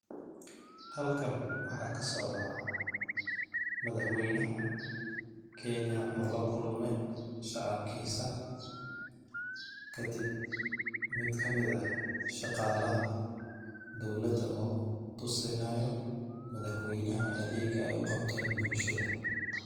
Halkan waxaa ka socdaa madaxweynaha kenya oo la kulmay shacabkiisa kadib mid kamid eh shaqaalaha dowlada oo tusinaayo madaxweynaha adeega ay u qabteen bulshada.